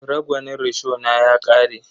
Ragwanin rishona ya ƙare.